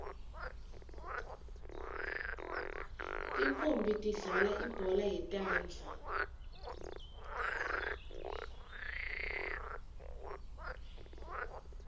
tintfonmbi tidlalal ibhola yetandla